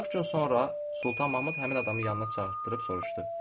40 gün sonra Sultan Mahmud həmin adamı yanına çağırdırıb soruşdu: